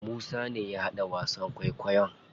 Musa ne ya haɗa wasan kwaikwayon.